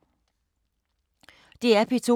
DR P2